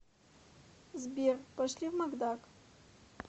сбер пошли в макдак